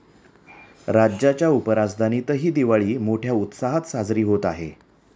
राज्याच्या उपराजधानीतही दिवाळी मोठ्या उत्साहात साजरी होत आहे.